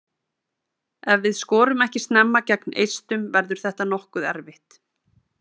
Ef við skorum ekki snemma gegn Eistum verður þetta nokkuð erfitt.